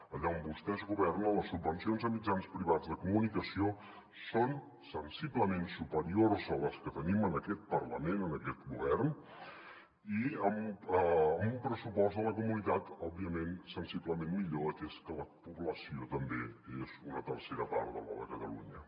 allà on vostès governen les subvencions a mitjans privats de comunicació són sensiblement superiors a les que tenim en aquest parlament en aquest govern i amb un pressupost de la comunitat òbviament sensiblement millor atès que la població també és una tercera part de la de catalunya